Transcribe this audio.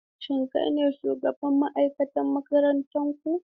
Shin kai ne shugaban ma'aikata a makarantar ku?